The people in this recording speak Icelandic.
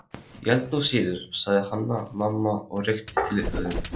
Ég held nú síður, sagði Hanna-Mamma og rykkti til höfðinu